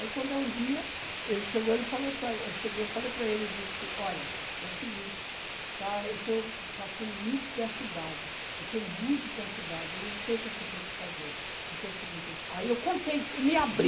Aí quando é um dia, ele chegou, ele chegou e falou para, eu falei para ele, disse, olha, é o seguinte, está, eu estou passando muito perturbado, eu estou muito perturbado, eu não sei o que é que eu tenho que fazer, porque é o seguinte, aí eu contei, me abri.